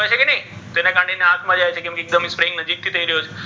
જેના કારણે ઍની આંખ મા જાય તો કેમ કે એક્દમ નજીક થી થઇ રહ્યો છે.